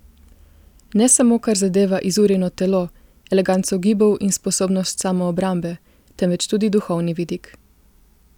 Ne samo kar zadeva izurjeno telo, eleganco gibov in sposobnost samoobrambe, temveč tudi duhovni vidik.